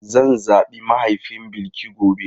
Zan zabi mahaifin Bilki gobe.